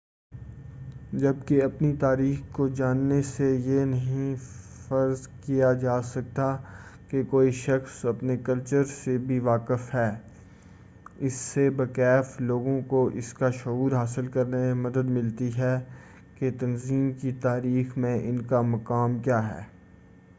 جبکہ اپنی تاریخ کو جاننے سے یہ نہیں فرض کیا جاسکتا کہ کوئی شخص اپنے کلچر سے بھی واقف ہے اس سے بہ کیف لوگوں کو اس کا شعور حاصل کرنے میں مدد ملتی ہے کہ تنظیم کی تاریخ میں ان کا مقام کیا ہے